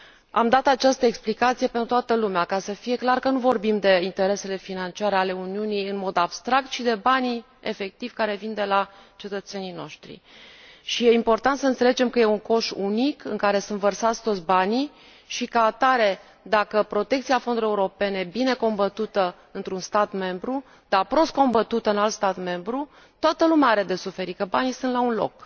Am dat această explicație pentru toată lumea, ca să fie clar că nu vorbim de interesele financiare ale Uniunii în mod abstract, ci de banii care vin efectiv de la cetățenii noștri. Și este important să înțelegem că este un coș unic, în care sunt vărsați toți banii și, ca atare, dacă protecția fondurilor europene e bine combătută într un stat membru, dar prost combătută în alt stat membru, toată lumea are de suferit pentru că banii sunt la un loc.